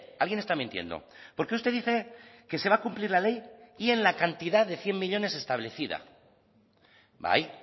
alguien está mintiendo porque usted dice que se va a cumplir la ley y en la cantidad de cien millónes establecida bai